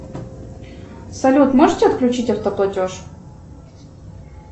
салют можете отключить автоплатеж